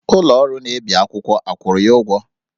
Ụlọ ọrụ na-ebi akwụkwọ akwụrụ ya ụgwọ?